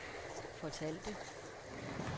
fortalte